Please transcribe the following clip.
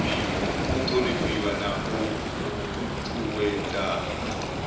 u thonifhiwa na u ṱuṱuwedzwa